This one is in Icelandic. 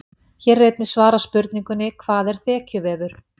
Hér er einnig svarað spurningunni: Hvað er þekjuvefur?